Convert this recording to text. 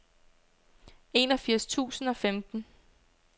enogfirs tusind og femten